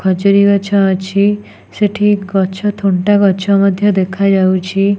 ଖଜୁରୀ ଗଛ ଅଛି ସେଠି ଗଛ ଥୁଣ୍ଟା ଗଛ ମଧ୍ଯ ଦେଖାଯାଉଚି।